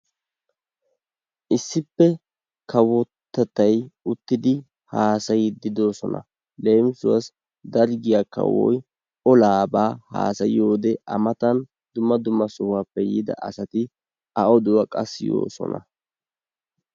Issippe kawottettay uttidi haasiyiddi de'oosona. leemisuwasi darggiyaa kawoy olaabaa hasaayiyode A matan dumma dumma sohuwaappe yiida asati A oduwa qa siyoosona.